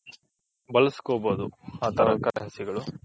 ಬಳಸ್ಕೊಬೋದು ಆ ತರ Currency ಗಳು.